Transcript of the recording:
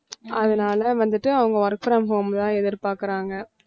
அதனால வந்துட்டு அவங்க work from home தான் எதிர்பார்க்கிறாங்க